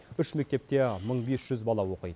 үш мектепте мың бес жүз бала оқиды